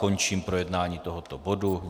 Končím projednání tohoto bodu.